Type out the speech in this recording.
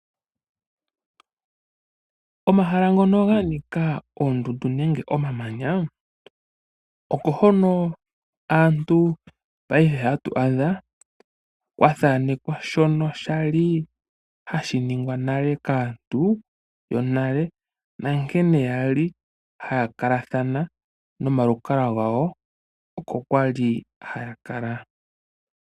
Omahala ngono ganika oondundu nenge omamanya, oko hono aantu paife ha tu adha kwa thanekwa shono shali hashi ningwa nale kaantu yonale na nkene kwali ha ya kalathana nomalukalwa gawo oko kwa li haya kala.